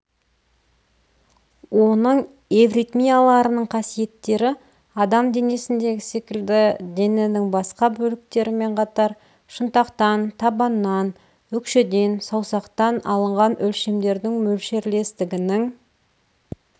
оның эвритмияларының қасиеттері адам денесіндегі секілді дененің басқа бөліктерімен қатар шынтақтан табаннан өкшеден саусақтан алынған өлшемдердің мөлшерлестігінің